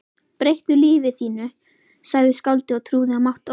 Breyttu lífi þínu sagði skáldið og trúði á mátt orðsins